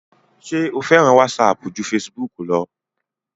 ṣé o fẹ́ràn wásapù ju fesibúkù lọ?